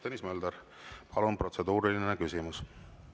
Tõnis Mölder, palun, protseduuriline küsimus!